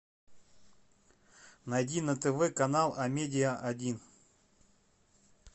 найди на тв канал амедиа один